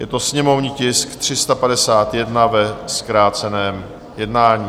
Je to sněmovní tisk 351, ve zkráceném jednání.